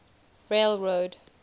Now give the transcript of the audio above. railroad